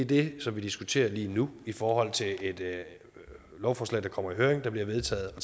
det som vi diskuterer lige nu i forhold til et lovforslag der kommer i høring som bliver vedtaget og